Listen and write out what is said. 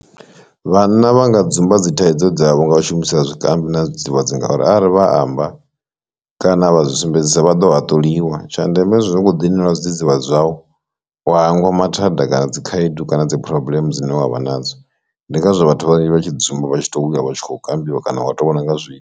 Vhanna vha nga dzumba dzithaidzo dzavho nga u shumisa zwikambi na zwidzidzivhadzi ngauri arali vha amba kana vha zwi sumbedzisa vha ḓo haṱuliwa tsha ndeme zwo ngo ḓi nwela zwidzidzivhadzi zwau wa hangwa nga mathada kana dzi khaedu kana dzi phurobuḽeme dzine wavha nadzo, ndi ngazwo vhathu vhanzhi vha tshi dzumba vha tshi to vhunga vha tshi khou kambiwa kana wa to vhona nga zwiito.